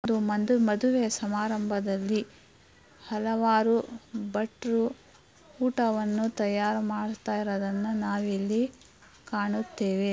ಇದು ಒಂದು ಮದುವೆಯ ಸಮಾರಂಭದಲ್ಲಿ ಹಲವಾರು ಭಟ್ರು ಊಟವನ್ನು ತಯಾರು ಮಾಡ್ತಾ ಇರೋದನ್ನ ನಾವಿಲ್ಲಿ ಕಾಣುತ್ತೇವೆ.